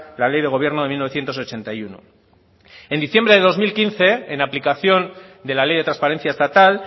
la ley de gobierno de mil novecientos ochenta y uno en diciembre del dos mil quince en aplicación de la ley de transparencia estatal